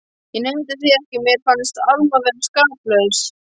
Ég neita því ekki að mér fannst Alma vera skaplaus.